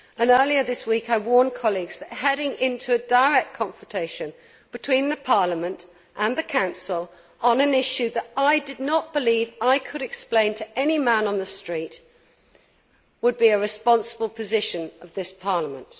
Earlier this week I warned colleagues that heading into a direct confrontation between Parliament and the Council on an issue that I did not believe I could explain to any man on the street would not be a responsible position of this Parliament.